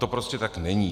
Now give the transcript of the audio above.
To prostě tak není.